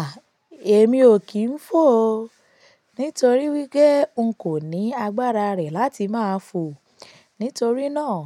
À, èmi ò kí ń fò o. Nítorí wí pe, n kò ní agbára rè láti máa fò. Nítorí náà,